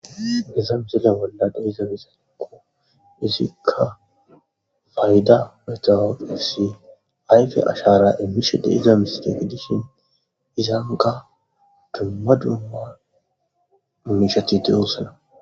iza misila bolla de iza misanakko izikka fayda metawoefsi ayfe ashara immishe de iza miside gidishin izanqa dumma dumma immishati deyoossana